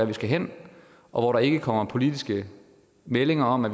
de skal hen og hvor der ikke kommer politiske meldinger om at